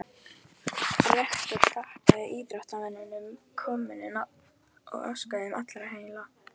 Rektor þakkaði íþróttamönnum komuna og óskaði þeim allra heilla.